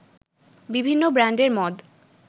বিভিন্ন ব্র্যান্ডের মদ